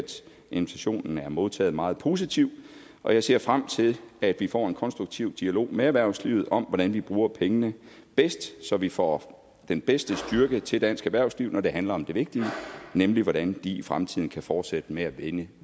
invitationen er modtaget meget positivt og jeg ser frem til at vi får en konstruktiv dialog med erhvervslivet om hvordan vi bruger pengene bedst så vi får den bedste styrke til dansk erhvervsliv når det handler om det vigtige nemlig hvordan de i fremtiden kan fortsætte med at vinde